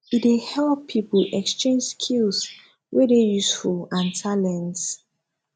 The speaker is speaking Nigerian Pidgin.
e dey help pipo exchange skills wey dey useful and talent